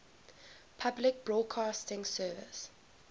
public broadcasting service